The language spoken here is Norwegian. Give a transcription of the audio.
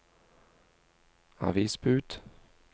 avisbud